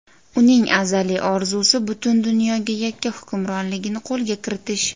Uning azaliy orzusi butun dunyoga yakka hukmronligini qo‘lga kiritish.